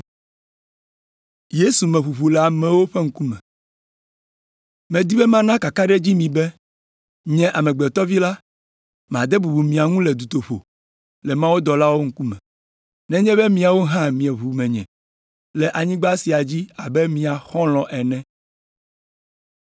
“Medi be mana kakaɖedzi mi be, Nye, Amegbetɔ Vi la, made bubu mia ŋu le dutoƒe le mawudɔlawo ŋkume, nenye be miawo hã mieʋu menye le anyigba sia dzi abe mia xɔlɔ̃ ene.